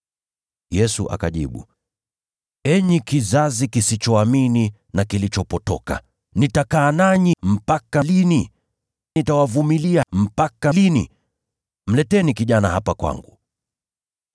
Yesu akajibu, “Enyi kizazi kisichoamini na kilichopotoka! Nitakaa nanyi mpaka lini? Nitawavumilia mpaka lini? Mleteni mvulana hapa kwangu.”